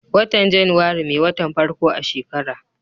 watan januari me watan farko a shekara